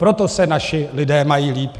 Proto se naši lidé mají líp.